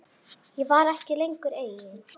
Ég var ekki lengur ein.